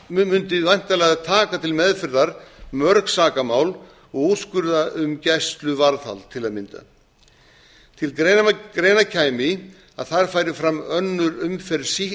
millidómur mundi væntanlega taka til meðferðar mörg sakamál og úrskurða um gæsluvarðhald til að mynda til greina kæmi að þar færi fram önnur umferð